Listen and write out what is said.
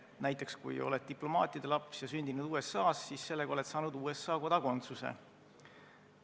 Näiteks, kui sa oled diplomaatide laps ja sündinud USA-s, siis oled sa saanud USA kodakondsuse.